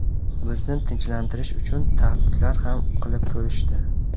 Bizni tinchlantirish uchun tahdidlar ham qilib ko‘rishdi.